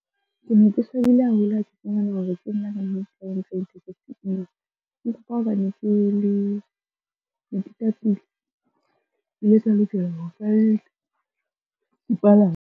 Ke ne ke swabile haholo ha ke fumana hore ke nna ka a bakileng hore tekesi e imelwe .